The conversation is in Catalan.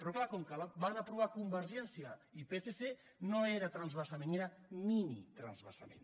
però clar com que la van aprovar convergència i psc no era transvasament era mini transvasament